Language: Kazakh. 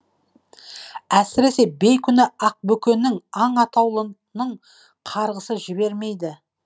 әсіресе бейкүнә ақбөкеннің аң атаулының қарғысы жібермейді